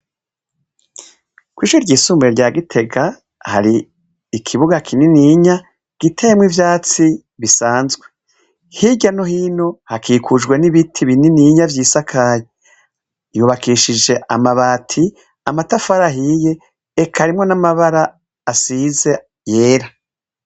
Kw’ishuri ryisumbuye rya Gitega, hari ikibuga kinininya giteyemw’ivyatsi bisanzwe, hirya no hino hakikujwe n’ibiti bininiya vyisakaye. Yubakishije amabati, amatafari ahiye eka harimwo n’amabara asize yera.